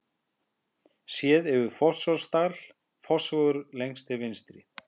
Séð yfir Fossvogsdal, Fossvogur lengst til vinstri.